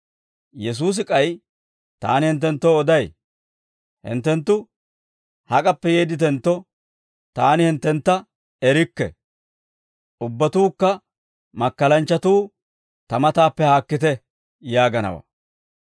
«Yesuusi k'ay, ‹Taani hinttenttoo oday; hinttenttu hak'appe yeedditentto, taani hinttentta erikke; ubbatuukka makkalanchchatuu ta mataappe haakkite› yaagaanawaa.